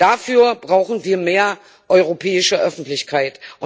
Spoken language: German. Dafür brauchen wir mehr europäische Öffentlichkeit.